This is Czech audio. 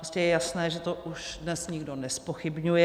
Prostě je jasné, že to už dnes nikdo nezpochybňuje.